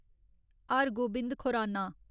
Har Gobind Khorana